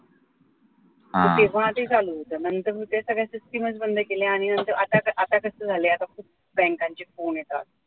नंतर मग त्या सगळ्या system च बंद केल्या आणि आता आता कस झालंय आता खूप बँकांचे phone येतात